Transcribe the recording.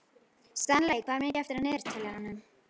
Stanley, hvað er mikið eftir af niðurteljaranum?